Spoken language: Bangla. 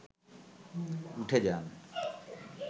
উঠে যান